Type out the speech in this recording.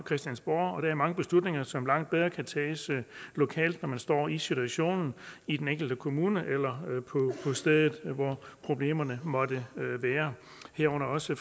christiansborg og der er mange beslutninger som langt bedre kan tages lokalt når man står i situationen i den enkelte kommune eller på stedet hvor problemerne måtte være herunder også